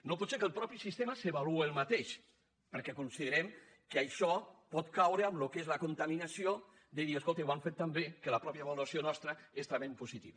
no pot ser que el mateix sistema s’avalue ell mateix perquè considerem que això pot caure en el que és la contaminació de dir escolti ho han fet tan bé que la mateixa avaluació nostra és també en positiu